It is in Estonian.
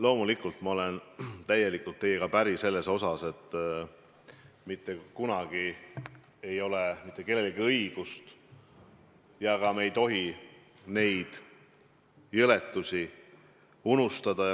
Loomulikult ma olen täielikult teiega päri, et mitte kunagi ei ole mitte kellelgi õigust neid jõledusi unustada.